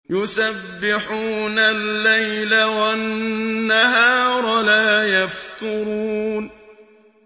يُسَبِّحُونَ اللَّيْلَ وَالنَّهَارَ لَا يَفْتُرُونَ